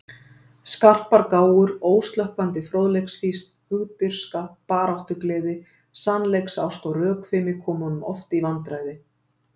Skarpar gáfur, óslökkvandi fróðleiksfýsn, hugdirfska, baráttugleði, sannleiksást og rökfimi komu honum oft í vandræði.